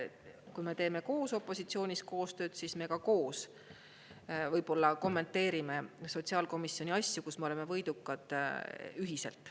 Kui me teeme koos opositsioonis koostööd, siis me koos võib-olla kommenteerime sotsiaalkomisjoni asju, kus me oleme võidukad ühiselt.